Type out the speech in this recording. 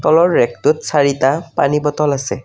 তলৰ ৰেকটোত চাৰিটা পানী বটল আছে।